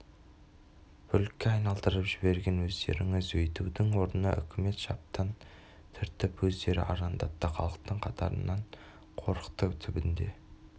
бүлікке айналдырып жіберген өздеріңіз өйтудің орнына үкімет шаптан түртіп өздері арандатты халықтың қаарынан қорықты түбінде